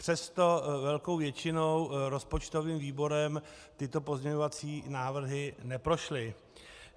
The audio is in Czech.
Přesto velkou většinou rozpočtovým výborem tyto pozměňovací návrhy neprošly.